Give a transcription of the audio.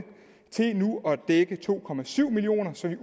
til nu at dække to millioner så vi